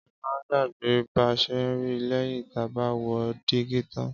Áma ń gbàgbè bà sè ri lẹyìn tà bà wò dígí tań